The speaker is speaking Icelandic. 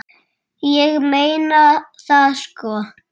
Ég meina það sko.